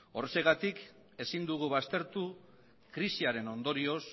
horregatik ezin dugu baztertu krisiaren ondorioz